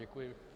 Děkuji.